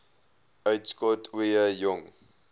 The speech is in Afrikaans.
uitskot ooie jong